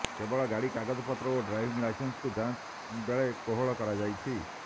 କେବଳ ଗାଡି କାଗଜପତ୍ର ଓ ଡ୍ରାଇଭିଂ ଲାଇସେନ୍ସକୁ ଯାଂଚ ବେଳେ କୋହଳ କରାଯାଇଛି